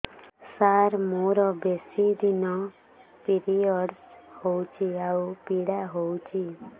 ସାର ମୋର ବେଶୀ ଦିନ ପିରୀଅଡ଼ସ ହଉଚି ଆଉ ପୀଡା ହଉଚି